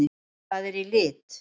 Það er í lit!